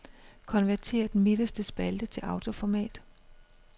Konvertér den midterste spalte til autoformat.